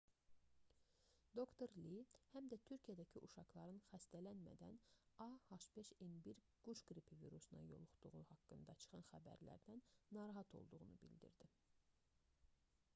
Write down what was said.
dr. li həm də türkiyədəki uşaqların xəstələnmədən a h5n1 quş qripi virusuna yoluxduğu haqqında çıxan xəbərlərdən narahat olduğunu bildirdi